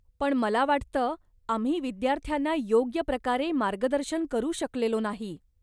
पण मला वाटतं, आम्ही विद्यार्थ्यांना योग्य प्रकारे मार्गदर्शन करू शकलेलो नाही.